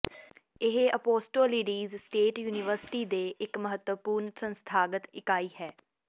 ਇਹ ਔਪੌਸਟੋਲੀਡੀਸ state university ਦੇ ਇੱਕ ਮਹੱਤਵਪੂਰਨ ਸੰਸਥਾਗਤ ਇਕਾਈ ਹੈ